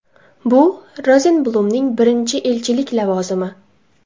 Bu - Rozenblumning birinchi elchilik lavozimi.